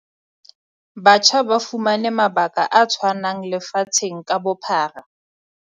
Batjha ba fumane mabaka a tshwanang lefatsheng ka bophara.